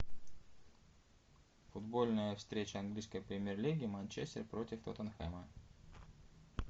футбольная встреча английской премьер лиги манчестер против тоттенхэма